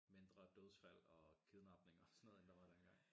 Mindre dødsfald og kidnapninger og sådan noget end der var dengang